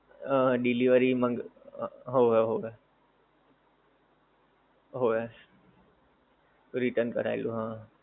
હં delivery માંગ, હોવે હોવે. હોવે. return કારવેલું હા.